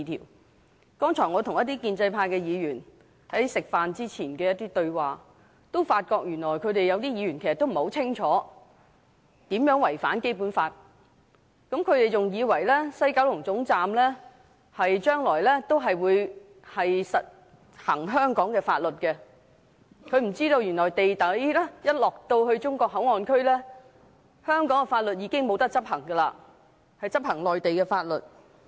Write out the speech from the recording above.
我剛才吃飯前跟一些建制派議員對話，發覺他們當中有一些原來不很清楚"一地兩檢"安排如何違反《基本法》，他們還以為西九龍站將來還會實行香港法律，不知原來一旦到了地底的"內地口岸區"，就不能執行香港法律，而是執行內地法律。